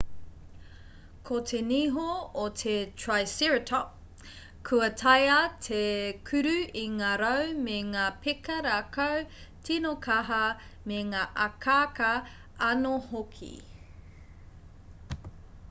ko te niho o te triceratop kua taea te kuru i ngā rau me ngā peka rākau tīno kaha me ngā akaaka anō hoki